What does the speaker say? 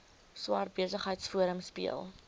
swart besigheidsforum speel